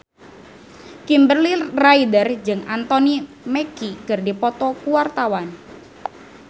Kimberly Ryder jeung Anthony Mackie keur dipoto ku wartawan